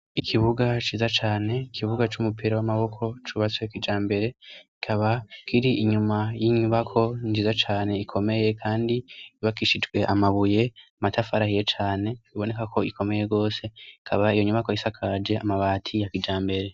Ikibuga ciza cane, ikibuga c'umupira w'amaboko cubatswe kijambere; kikaba kiri inyuma y'inyubako nziza cane ikomeye kandi yubakishijwe amabuye, amatafari ahiye cane, iboneka ko ikomeye rwose . Ikaba iyo nyubako isakaje amabati ya kijambere.